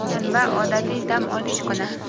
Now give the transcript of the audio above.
shanba – odatiy dam olish kuni.